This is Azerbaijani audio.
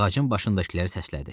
Ağacın başındakıları səslədi.